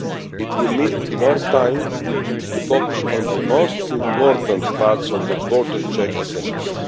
it will mean more time to focus on the most important parts of the border check assessments.